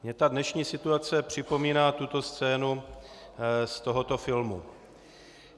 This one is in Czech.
Mně ta dnešní situace připomíná tuto scénu z tohoto filmu.